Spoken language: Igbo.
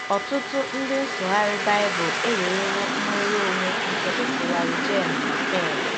Ọtụtụ ndị nsụgharị Bible ewerewo nnwere onwe nke ịsụgharị Geʹen·na “ hell.